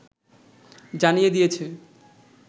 জানিয়ে দিয়েছে